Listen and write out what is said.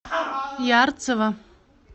ярцево